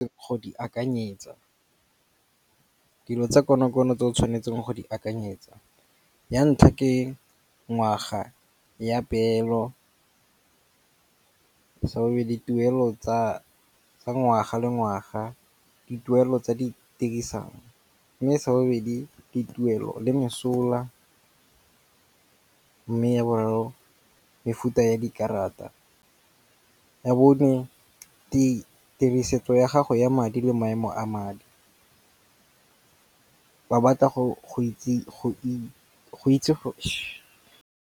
Go di akanyetsa. Dilo tsa konokono tse o tshwanetseng go di akanyetsa. Ya ntlha ke ngwaga ya peelo. Sa bobedi tuelo tsa ngwaga le ngwaga. Dituelo tsa di . Mme sa bobedi dituelo le mesola. Mme ya boraro mefuta ya dikarata. Ya bone ditirisetso ya gago ya madi le maemo a madi. Ba batla go itse .